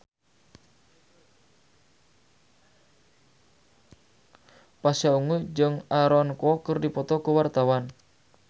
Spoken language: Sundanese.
Pasha Ungu jeung Aaron Kwok keur dipoto ku wartawan